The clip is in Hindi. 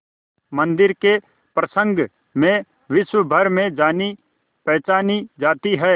मंदिर के प्रसंग में विश्वभर में जानीपहचानी जाती है